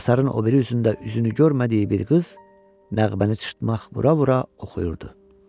Həsarın o biri üzündə üzünü görmədiyi bir qız nəğməni cırtmaq bura-bura oxuyurdu.